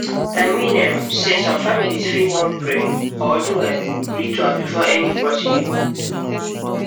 i mean um sey some families fit wan pray or do um ritual before any procedure um